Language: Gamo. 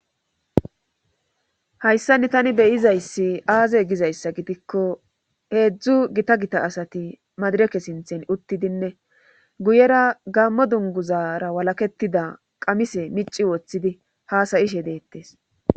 hayssani tani beyizayssi aaze gizayssa gidikko heedzdzu gita gita asati madireke sinthen uttidinne guyera gammo dunguzara walaketida qamise mici woththidi haasayishe deettes